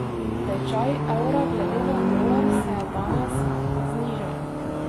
Tečaj evra glede na dolar se je danes znižal.